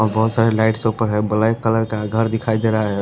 और बहुत सारे लाइट्स ऊपर है ब्लैक कलर का घर दिखाई दे रहा है।